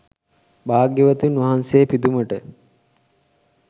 භාග්‍යවතුන් වහන්සේ පිදුමට